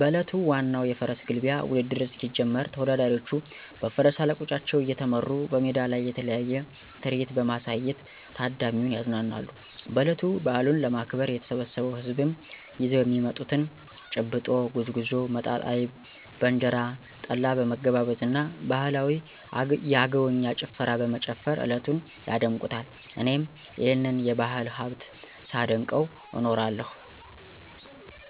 በእለቱ ዋናው የፈረስ ግልቢያ ውድድር እስኪጀምር ተወዳዳሪዎቹ በፈረስ አለቆቻቸው እየተመሩ በሜዳው ላይ የተለያየ ትርኢት በማሳየት ታዳሚውን ያዝናናሉ። በእለቱ በአሉን ለማክበር የተሰበሰው ህዝብም ይዘው የሚመጡትን :- ጭብጦ፣ ጉዝጉዞ፣ መጣጣ አይብ በእንጀራ፣ ጠላ በመገባበዝ እና ባህላዊ የአገውኛ ጭፈራ በመጨፈር እለቱን ያደምቁታል። እኔም ይህንን የባህል ሀብት ሳደንቀው እኖራለሁ።